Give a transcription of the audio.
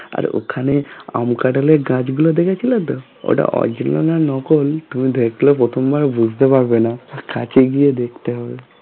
আর ওখানে আম কাঁঠালের গাছ গুলো দেখে ছিলে তো ওটা originally নকল তুমি দেখলে প্রথম বার বুঝতে পারবে না তার কাছে গিয়ে দেখতে হবে